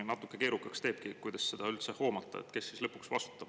Natuke keerukaks teebki, kuidas seda üldse hoomata, kes siis lõpuks vastutab.